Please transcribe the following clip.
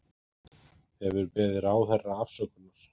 Hefur beðið ráðherra afsökunar